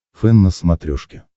фэн на смотрешке